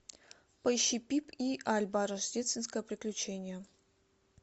поищи пип и альба рождественское приключение